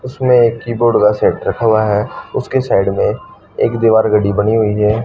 इसमें कीबोर्ड का सेट रखा हुआ है उसके साइड में एक दीवार घड़ी बनी हुई है।